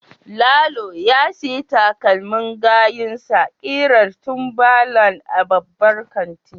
Lalo ya sayi takalmin gayunsa kirar timberland a babban kantin.